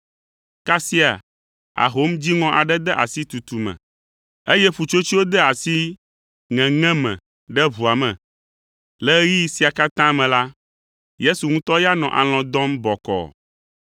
Kasia ahom dziŋɔ aɖe de asi tutu me, eye ƒutsotsoewo de asi ŋeŋe me ɖe ʋua me. Le ɣeyiɣi sia katã me la, Yesu ŋutɔ ya nɔ alɔ̃ dɔm bɔkɔɔ.